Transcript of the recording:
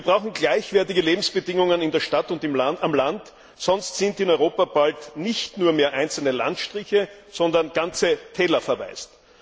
Wir brauchen gleichwertige Lebensbedingungen in der Stadt und auf dem Land, sonst sind in Europa bald nicht mehr nur einzelne Landstriche, sondern ganze Täler verwaist.